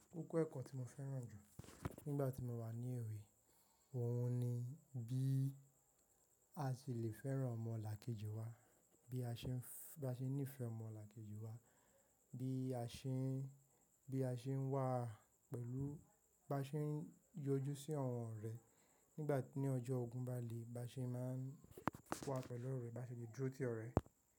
Koko ẹ́kọ̀ tí mo fẹ́ràn jù nígbà tí mo wà ní èwe, òhun ni bí a ṣe lè fẹ́ràn ọmọlàkejì wa, bí a ṣe ní ìfẹ́ ọmọlàkejì wa, bí a ṣe ń wà pẹ̀lú, bá ṣe ń yọjú sí ọ̀wọ́n re nígbà tí ní ọjọ́ ogún ń ba le, bá ṣe máa ń wa pẹ̀lú ọ̀rẹ́, bá ṣe lè dúró tì ọ̀rẹ́